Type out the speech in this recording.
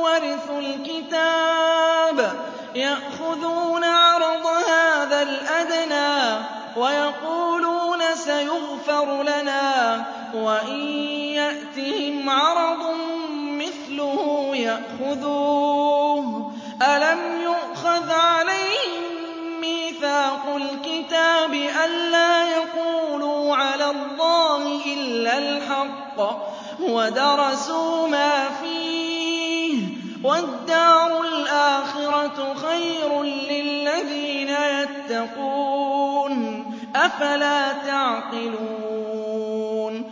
وَرِثُوا الْكِتَابَ يَأْخُذُونَ عَرَضَ هَٰذَا الْأَدْنَىٰ وَيَقُولُونَ سَيُغْفَرُ لَنَا وَإِن يَأْتِهِمْ عَرَضٌ مِّثْلُهُ يَأْخُذُوهُ ۚ أَلَمْ يُؤْخَذْ عَلَيْهِم مِّيثَاقُ الْكِتَابِ أَن لَّا يَقُولُوا عَلَى اللَّهِ إِلَّا الْحَقَّ وَدَرَسُوا مَا فِيهِ ۗ وَالدَّارُ الْآخِرَةُ خَيْرٌ لِّلَّذِينَ يَتَّقُونَ ۗ أَفَلَا تَعْقِلُونَ